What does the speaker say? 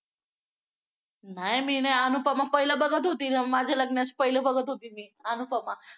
नाही मी नाही अनुपमा पहिला बघत होती माझ्या लग्नाच्या पहिला बघत होती मी अनुपमा